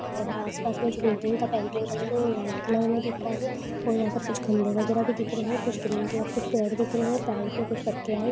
और आसपास में जो बिल्डिंग का पेंटिंग कलर है वह वाइट कलर में दिख रहा है। और यहां पर कुछ खंभे वगैरा भी दिख रहे है कुछ ग्रीन कलर के पेड़ दिख रहे है पेड़ पर कुछ पत्तियां है।